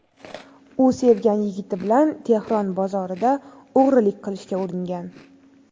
U sevgan yigiti bilan Tehron bozorida o‘g‘rilik qilishga uringan.